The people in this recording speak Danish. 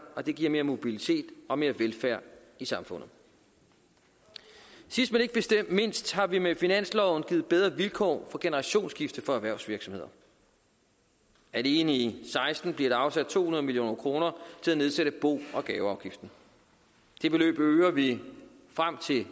og det giver mere mobilitet og mere velfærd i samfundet sidst men ikke mindst har vi med finansloven givet bedre vilkår for generationsskifte for erhvervsvirksomheder alene i seksten bliver der afsat to hundrede million kroner til at nedsætte bo og gaveafgiften det beløb øger vi frem til